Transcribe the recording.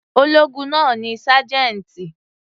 Ológun náà ni sájẹ́ńtì.